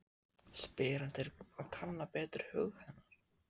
spyr hann til að kanna betur hug hennar.